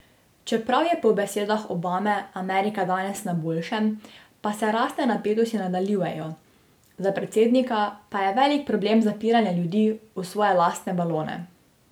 Čeprav je po besedah Obame Amerika danes na boljšem, pa se rasne napetosti nadaljujejo, za predsednika pa je velik problem zapiranje ljudi v svoje lastne balone.